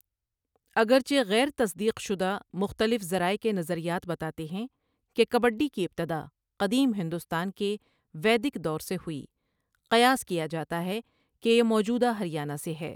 اگرچہ غیر تصدیق شدہ، مختلف ذرائع کے نظریات بتاتے ہیں کہ کبڈی کی ابتدا قدیم ہندوستان کے ویدک دور سے ہوئی، قیاس کیا جاتا ہے کہ یہ موجودہ ہریانہ سے ہے۔